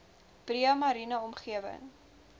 breë mariene omgewing